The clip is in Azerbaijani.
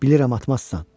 Bilirəm, atmazsan.